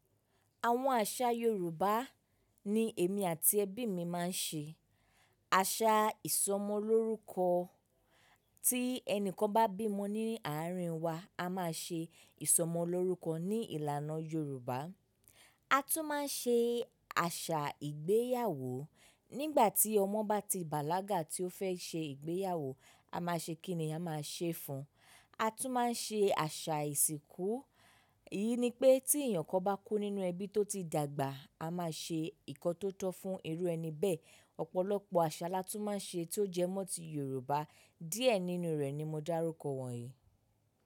Àwọn àṣà Yorùbá ni èmi àti ẹbí mi máa ń ṣe. Àṣà ìsọmọlórúkọ, tí ẹni kan bá bímo ní àárín wa, a máa ṣe ìsọmọlórúkọ ní ìlànà Yorùbá. A tún máa ń ṣe àṣà ìgbéyàwó. Nígbà tí ọmọ bá ti bàlágà tí ó fẹ́ ṣe ìgbéyàwó, a máa ṣe kíni a máa ṣe fún un. A tún máa ń ṣe àṣà ìsìnkú. Èyí ni pé tí èèyàn kan bá kú nínú ẹbí tó ti dàgbà, a máa ṣe nǹkan tó tọ́ fún irú ẹni bẹ́ẹ̀. Ọ̀pọ̀lọpọ̀ àṣà la tún máa ń ṣe tí ó jẹ́ mọ́ tí Yorùbá. Díẹ̀ nínú rẹ̀ ni mo dárúkọ wọ̀nyí.